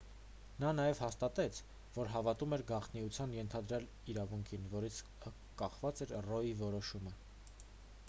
նա նաև հաստատեց որ հավատում էր գաղտնիության ենթադրյալ իրավունքին որից կախված էր ռոյի որոշումը